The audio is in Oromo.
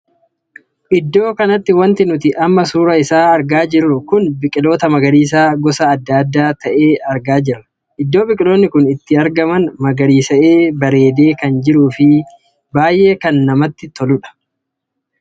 Iddoo kanatti wanti nuti amma suuraa isaa argaa jirru kun biqiloota magariisa gosa addaa addaa tahee argaa jirra. Iddoo biqiloonni kun itti argamsn magariisa'ee bareedee kan jiruu fi kan baay'ee namatti toluudha.